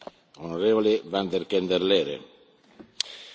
We hebben de voorbije jaren heel wat van onze burgers gevraagd.